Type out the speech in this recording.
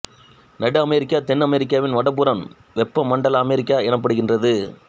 நடு அமெரிக்கா தென் அமெரிக்காவின் வடபுறம் வெப்ப மண்டல அமெரிக்கா எனப்படுகின்றது